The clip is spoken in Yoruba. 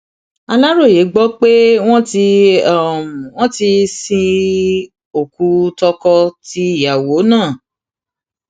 aláròye gbọ pé wọn ti wọn ti sin okùn tọkọ tìyàwó náà